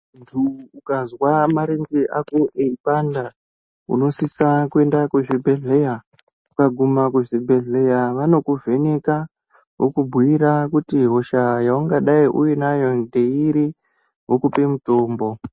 Ukanzwa marenge ako eyipanda unosisa kuenda kuzvibhedhleya kweguma kuzvibhedhleya wanokuvheneka vokuguira kuti hushayi hwaungadai unayo ndeiri vokupe mutombo